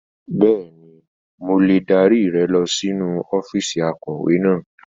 Bẹ́ẹ̀ni, mo lè dárí rẹ lọ sínú ọ́fíìsì akọ̀wé náà.